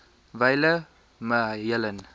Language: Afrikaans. wyle me helen